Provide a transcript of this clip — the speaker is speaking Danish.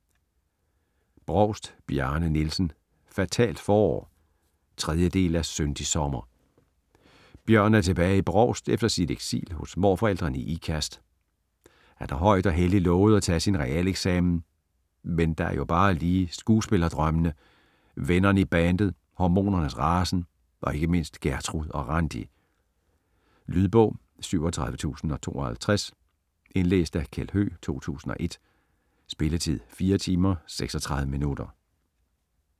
Brovst, Bjarne Nielsen: Fatalt forår 3. del af Syndig sommer. Bjørn er tilbage i Brovst efter sit eksil hos morforældrene i Ikast. Han har højt og helligt lovet at tage sin realeksamen, men der er jo bare lige skuespillerdrømmene, vennerne i bandet, hormonernes rasen og ikke mindst Gertrud og Randi. Lydbog 37052 Indlæst af Kjeld Høegh, 2001. Spilletid: 4 timer, 36 minutter.